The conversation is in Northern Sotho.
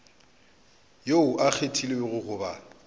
yo a kgethilwego go ba